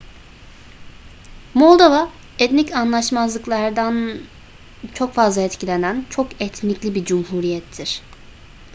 moldova etnik anlaşmazlıklardan çok fazla etkilenen çok etnikli bir cumhuriyettir